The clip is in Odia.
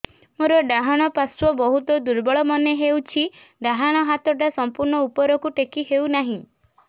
ମୋର ଡାହାଣ ପାଖ ବହୁତ ଦୁର୍ବଳ ମନେ ହେଉଛି ଡାହାଣ ହାତଟା ସମ୍ପୂର୍ଣ ଉପରକୁ ଟେକି ହେଉନାହିଁ